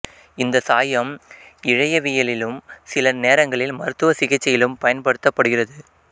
இந்த சாயம் இழையவியலிலும் சில நேரங்களில் மருத்துவச சிகிச்சையிலும் பயன்படுத்தப்படுகிறது